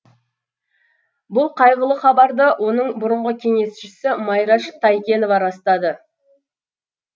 бұл қайғылы хабарды оның бұрынғы кеңесшісі майраш тайкенова растады